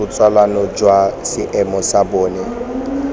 botsalano jwa seemo sa bona